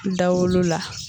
Dawolo la